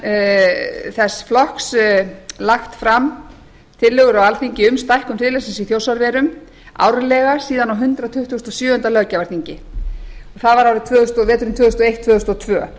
vinstri hreyfingarinnar græns framboðs lagt fram tillögur á alþingi um stækkun friðlandsins í þjórsárverum árlega síðan á hundrað tuttugasta og sjöunda löggjafarþingi það var verin tvö þúsund og eitt tvö þúsund og tvö